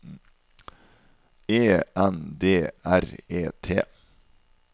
E N D R E T